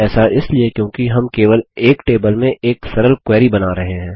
ऐसा इसलिए क्योंकि हम केवल एक टेबल से एक सरल क्वेरी बना रहे हैं